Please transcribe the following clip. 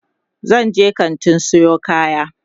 zanje kantin Sayo kaya